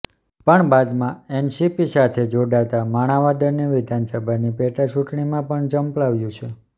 પણ બાદમાં એનસીપી સાથે જોડાતા માણાવદરની વિધાનસભાની પેટાચૂંટણીમાં પણ ઝંપલાવ્યુ છે